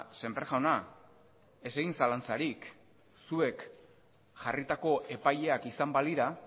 sémper jauna ez egin zalantzarik zuek jarritako epaileak izan balira